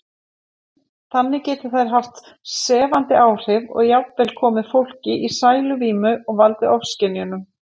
Þannig geti þær haft sefandi áhrif og jafnvel komið fólki í sæluvímu og valdið ofskynjunum.